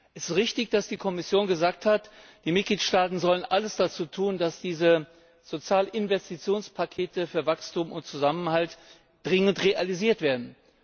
Es ist richtig, dass die Kommission gesagt hat, die Mitgliedstaaten sollen alles dazu tun, dass diese Sozialinvestitionspakete für Wachstum und Zusammenhalt dringend realisiert werden.